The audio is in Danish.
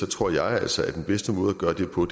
tror jeg altså at den bedste måde at gøre det på